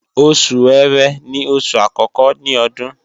Oṣù ẹ̀rẹ́ ni oṣù àkọ́kọ́ ní Ọdún